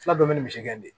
Fula dɔ be yen misigɛnin